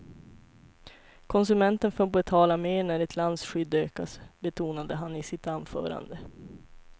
Konsumenten får betala mer när ett lands skydd ökas, betonade han i sitt anförande.